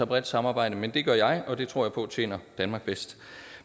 bredt samarbejde men det gør jeg og det tror jeg på tjener danmark bedst